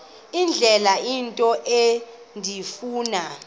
indlela into endifuna